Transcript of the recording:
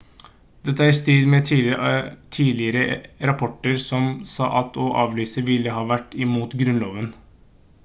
dette er i strid med tidligere rapporter som sa at å avlyse ville ha vært imot grunnloven